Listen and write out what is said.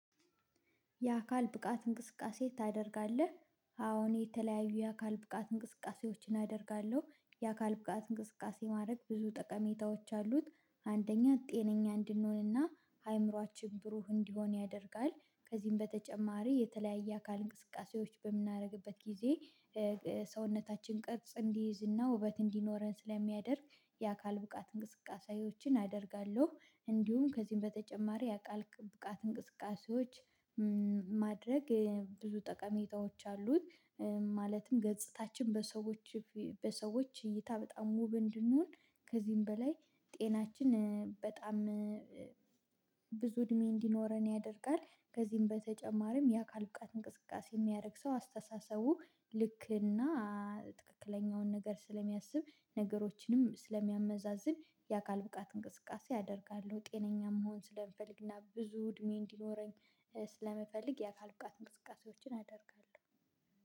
የአካል ብቃት እንቅስቃሴ ታደርጋለህ? አዎን የተለያዩ የአካል ብቃት እንቅስቃሴዎችን አደርጋለሁ የአካል ብቃት እንቅስቃሴ ማድረግ ብዙ ጠቀሜታዎች አሉት። አንደኛ ጤነኛ እንድንሆንና አእምሮአችን ብሩህ እንዲሆን ያደርጋል። ከዚህም በተጨማሪ የተለያየ አካል እንቅስቃሴዎች በምናደርግበት ጊዜ ሰውነታችን ቅርጽ እንዲይዝና ውበት እንዲኖረን ስለሚያደርግ የአካል ብቃት እንቅስቃሴዎችን አደርጋለሁ። እንዲሁም ከዚህም በተጨማሪ የአካል ብቃት እንቅስቃሴዎች ማድረግ ብዙ ጠቀሜታዎች አሉት። ማለትም ገጽታችን በሰዎች በሰዎች እይታ በጣም ውብ እንድንሆን ከዚህም በላይ ጤናችን በጣም ብዙ እድሜ እንዲኖረን ያደርጋል። ከዚህም በተጨማሪም የአካል ብቃት እንቅስቃሴ የሚያደርግ ሰው አስተሳሰቡ ልክ እና ትክክለኛውን ነገር ስለሚያስብ ነገሮችንም ስለሚያመዛዝን የአካል ብቃት እንቅስቃሴ አደርጋለሁ። ጤነኛ መሆን ስለምፈልግና ብዙ እድሜ እንዲኖረኝ ስለምፈልግ የአካል ብቃት እንስቃሴዎችን አደርጋለሁ